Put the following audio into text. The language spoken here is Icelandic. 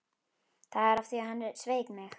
Það var af því að hann sveik mig.